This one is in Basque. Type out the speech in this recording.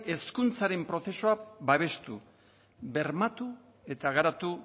hezkuntzaren prozesua babestu bermatu eta garatu